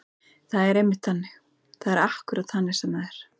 Það er einmitt þannig. það er akkúrat þannig sem það er.